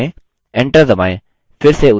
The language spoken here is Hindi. enter दबाएँ